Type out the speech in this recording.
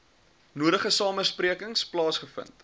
nodige samesprekings plaasgevind